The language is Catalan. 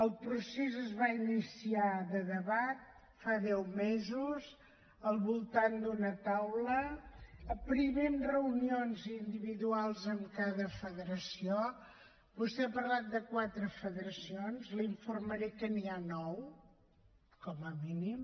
el procés es va iniciar de debat fa deu mesos al voltant d’una taula primer amb reunions individuals amb cada federació vostè ha parlat de quatre federacions l’informaré que n’hi ha nou com a mínim